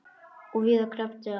Og víðar kreppti að.